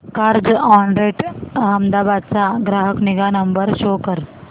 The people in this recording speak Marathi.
कार्झऑनरेंट अहमदाबाद चा ग्राहक निगा नंबर शो कर